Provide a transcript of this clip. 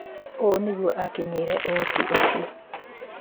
ũũ nĩguo akinyĩire ũhoti ũcio.